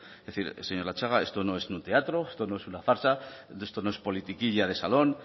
es decir señor latxaga esto no es un teatro esto no es una farsa esto no es politiquilla de salón